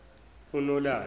unalana